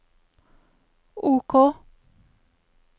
OK